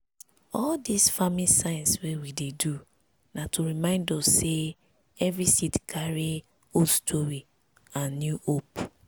all these farming signs wey we dey do na to remind us say every seed carry old story and new hope.